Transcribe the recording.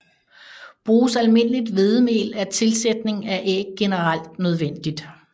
Bruges almindeligt hvedemel er tilsætning af æg generelt nødvendigt